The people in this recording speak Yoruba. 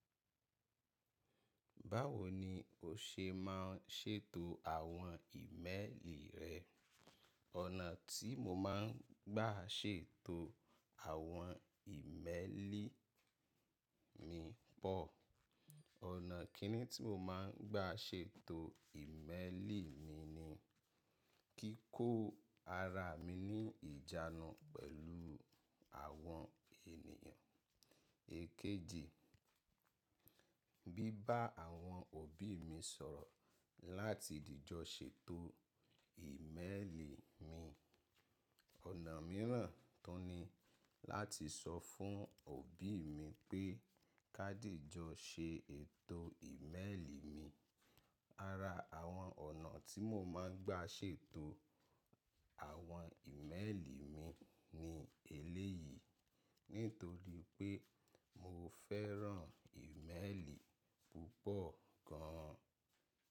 Báwo ni o ṣe ma ń ṣètò àwọn ìmẹ́ẹ̀lì rẹ? Ọ̀nà tí mo má ń gbà ṣètò àwọn ìmẹ́ẹ̀lì mi pọ̀. Ọ̀nà kìíní tí mo má ń gbà ṣètò ìmẹ́ẹ̀lì mi ni kí kó ara mi ní ìjánu pẹ̀lú àwọn ènìyàn. Ekéjì, bí bá àwọn òbí mi sọ̀rọ̀ láti dìjọ ṣètò ìmẹ́ẹ̀lì mi. Ọ̀nà mìíràn tun ní láti sọ fún òbí mi pé ká dìjọ ṣètò ìmẹ́ẹ̀lì mi. Ara àwọn ọ̀nà tí mo má ń gbà ṣètò àwọn ìmẹ́ẹ̀lì mi ni eléyìí nítorí pé mo fẹ́ràn ìmẹ́ẹ̀lì púpọ̀ gan an.